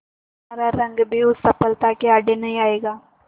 तुम्हारा रंग भी उस सफलता के आड़े नहीं आएगा